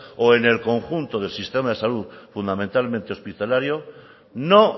o en el conjunto del sistema de salud fundamentalmente hospitalario no